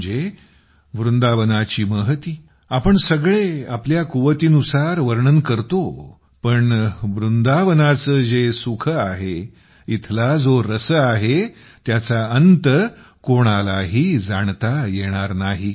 म्हणजे वृंदावनाची महती आपण सगळे आपापल्या कुवतीनुसार वर्णन करतो पण वृंदावनाचे जे सुख आहे इथला जो रस आहे त्याचा अंत कोणालाही जाणता येणार नाही